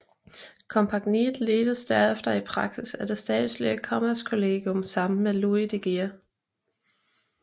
Kompagniet ledtes derefter i praksis af det statslige Kommerskollegium sammen med Louis de Geer